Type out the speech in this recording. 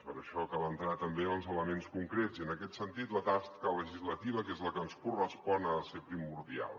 per això cal entrar també en els elements concrets i en aquest sentit la tasca legislativa que és la que ens correspon ha de ser primordial